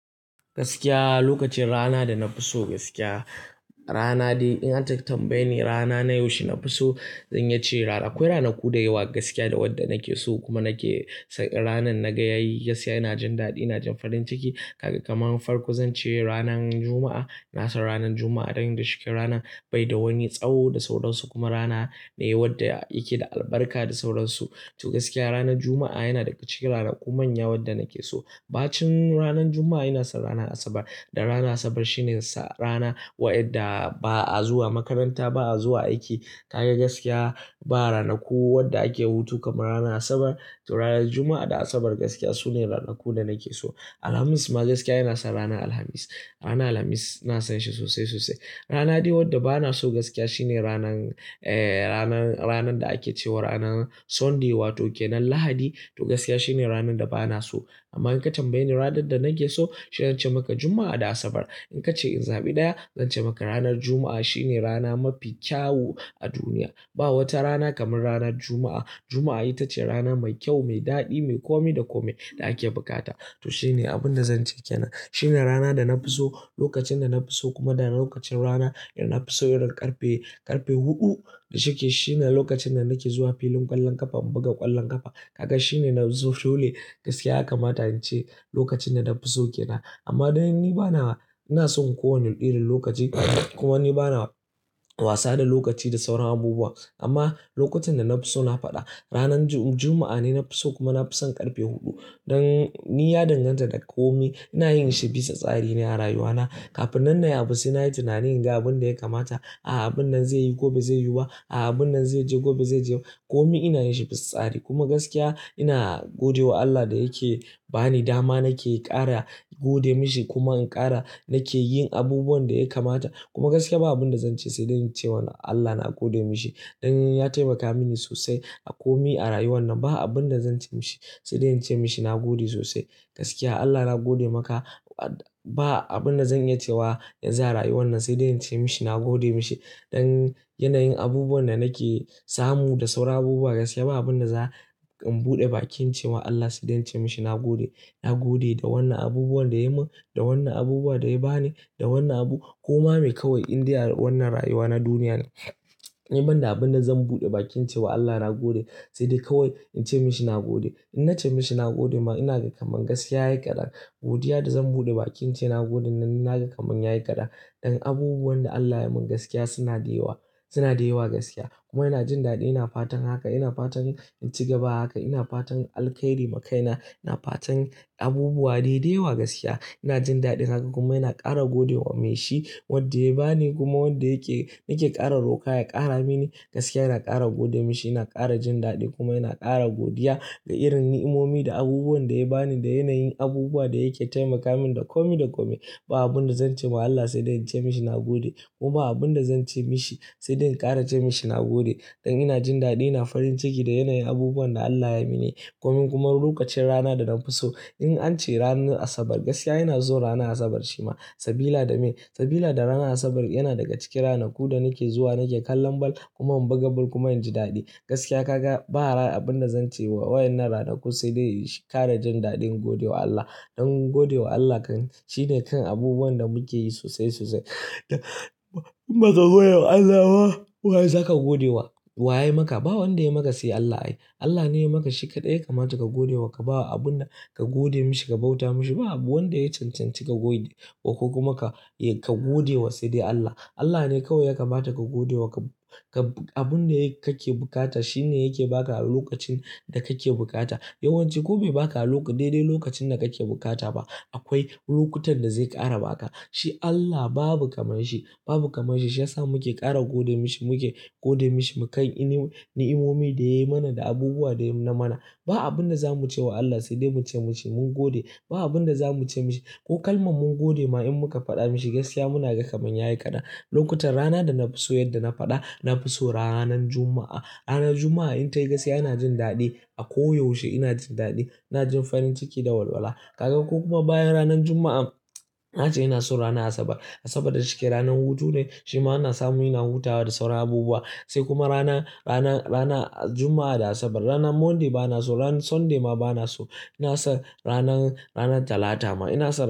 Gaskiya lokacin rana da na fi so gaskiya rana dai in an tambaye ni rana na yaushe nafi so? Zanyi iya ce rana. Akwai ranaku da yawa gaskiya da wanda nake so kuma nake ranan naga yayi gaskiya ina jin daɗi ina jin farin ciki. Kaga kaman farko zance ranar juma'a. Na san ranan Juma'a ɗin da shiken rana bai da wani tsawo da sauransu kuma rana ne wanda yake da albarka da sauransu. To gaskiya ranan Juma'a yana daga ciki ranaku manya wanda nake so. Bacin ranan Juma'a ina san ranan Asabar. Dan ranar Asabar shine sa rana waɗanda ba'a zuwa makaranta ba'a zuwa aiki. Kaga gaskiya ba ranaku wanda ake hutu kaman ranan Asabar. To ranan Juma'a da Asabar gaskiya sune ranaku da nake so. Alhamis ma gaskiya yana san rana Alhamis. Rana Alhamis ina san shi sosai sosai. Rana dai wadda bana so gaskiya shine ranan eh ranan ranan da ake cewa ranan Sunday wato kenan Lahadi. To gaskiya shine ranan da bana so. Amma in ka tambaye ni ranan da nake so? Shi zance maka Juma'a da Asabar. In ka ce in zabi ɗaya? Zance maka ranan Juma'a shine rana mafi kyawu a duniya. Ba wata rana kaman rana Juma'a. Juma'a ita ce rana mai kyau mai daɗi mai komai da komai da ake bukata. To shine abin da zance kenan. Shine rana da na fi so lokacin da na fi so kuma da lokacin rana da na fi so irin ƙarfe, ƙarfe huɗu da shike. Shine lokacin da nake zuwa filin ƙwallon ƙafa in buga ƙwallon ƙafa. Kaga shine na so dole gaskiya haka ma tayi ce lokacin da na fi so kena. Amma dan ni bana ina son kowanne irin lokaci kuma ni bana wasa da lokaci da sauran abubuwa. Amma lokacin da na fi so na faɗa. Ranan Ju-Juma'a ne na fi so kuma na fi son ƙarfe huɗu. Dan ni ya danganta da komi ina yin shi bisa tsari ne a rayuwana. Kafin nan nayi abu sai nayi tunani in ga abin da ya kamata. A'a abun nan zai yi ko ba zai yuwa ba. A'a abun nan zai je ko ba zai je ba. Komi ina yin shi bisa tsari kuma gaskiya ina gode wa Allah da yake ba ni dama nake ƙara gode mashi kuma in ƙara nake yin abubuwan da ya kamata. Kuma gaskiya ba abin da zance sai dai in ce wa Allah na gode mashi. Dan ya taimaka mini sosai a komi a rayuwan nan. Ba abun da zance mashi sai dai in ce mashi na gode sosai. Gaskiya Allah na gode maka ba abun da zanyi cewa yaza rayuwan nan sai dai in ce mashi na gode mashi. Dan yanayin abubuwan da nake samu da sauran abubuwa gaskiya ba abun da za in buɗe bakin cewa Allah sai dai in ce mashi na gode. Na gode da wannan abubuwan da ya mun, da wannan abubuwa da ya bani, da wannan abu. Ko ma mai kawai inda wannan rayuwa na duniya ne. Ni ban da abun da zan buɗe bakin cewa Allah na gode sai dai kawai in ce mashi na gode. In na ce mashi na gode ma ina ga kaman gaskiya yayi kaɗan. Godiya da zan buɗe bakin ce na gode nan ina ga kaman yayi kaɗan. Dan abubuwan da Allah ya mun gaskiya suna da yawa, suna da yawa gaskiya. Kuma ina jin daɗi ina fatan haka ina fatan in ci gaba haka. Ina fatan alkairi ma kaina. Ina fatan abubuwa dai da yawa gaskiya. Ina jin daɗin haka kuma ina ƙara gode wa mai shi wadda ya bani kuma wanda yake nake ƙara roƙa ya ƙara mini. Gaskiya ina ƙara gode mashi ina ƙara jin daɗi kuma ina ƙara godiya ga irin nimomi da abubuwan da ya bani da yanayin abubuwa da yake taimaka mini da komi da komi. Ba abun da zance ma Allah sai dai in ce mashi na gode. Kuma ba abun da zance mashi sai dai in ƙara ce mashi na gode. Dan ina jin daɗi ina farin ciki da yanayin abubuwan da Allah ya yi mini. Komin kuma lokacin rana da na fi so in ace ranan Asabar gaskiya ina son rana Asabar shi ma. Sabila dame, sabila da rana Asabar yana daga cikin ranaku da nake zuwa nake kallon ball kuma in buga ball kuma inji daɗi. Gaskiya kaklva ba rana abun da zance wa wayen rana da kusa dai shi ƙara jin daɗin gode wa Allah. Dan gode wa Allah kan shine kan abubuwan da muke yi sosai sosai. In ba ka gode wa Allah ba? Waya zaka gode wa? Wa yayi maka? Ba wanda yayi maka sai Allah ai. Allah ne yayi maka shi kaɗai ya kamata ka gode wa ka bawa abun da ka gode mashi ka bauta mashi. Ba wanda yayi cancanci ka gode ko kuma ka, ka gode wa sai dai Allah. Allah ne kawai ya kamata ka gode wa ka, ka abun da yake kake bukata shine yake ba ka a lokacin da kake bukata. Yawan ci ko be baka a lok-- daidai lokacin da kake bukata ba. Akwai lokutan da zai ƙara baka. Shi Allah babu kaman shi, babu kaman shi. Shi ya sa muke ƙara gode mashi muke gode mashi mu kan ini-- nimomi da ya yi mana da abubuwa da ya na mana. Ba abun da za muce wa Allah sai dai muce mashi mun gode. Ba abun da za muce mashi ko kalmar mun gode ma in muka faɗa mashi gaskiya muna ga kaman yayi kaɗan. Lokutan rana da na fi so yadda na faɗa na fi so ranan Juma'a. Rana Juma'a in tayi gaskiya ina jin daɗi a ko yaushe ina jin daɗi. Ina jin farin ciki da walwala. Kaga ko kuma bayan ranan Juma'a ace ina so rana Asabar. Asabar da shike ranan hutu ne shi ma ana samu ina hutawa da sauran abubuwa. Sai kuma rana, rana, rana Juma'a da Asabar. Ranan Monday bana so ranan Sunday ma bana so. Ina son ranan, ranan Talata ma ina so.